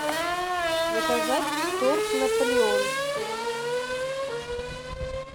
заказать торт наполеон